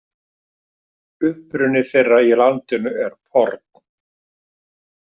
Uppruni þeirra í landinu er forn.